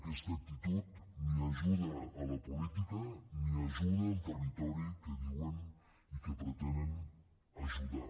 aquesta actitud ni ajuda la política ni ajuda el territori que diuen i que pretenen ajudar